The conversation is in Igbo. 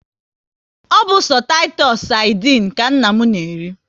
Ọ bụ sọ Titusu sardinu ka nna m na eri